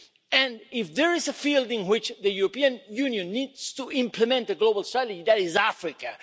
And if there is a field in which the European Union needs to implement a global strategy, that is Africa.